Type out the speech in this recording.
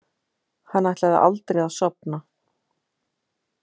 Hann ætlaði aldrei að sofna.